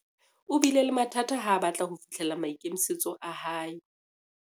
o bile le mathata ha a batla ho fihlella maikemisetso a hae